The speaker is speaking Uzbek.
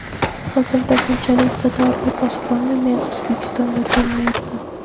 Hozirda bunchalik iqtidorli posbonni men O‘zbekistonda ko‘rmayapman.